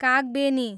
Kagbeni